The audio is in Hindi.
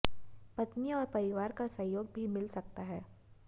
पत्नी और परिवार का सहयोग भी मिल सकता है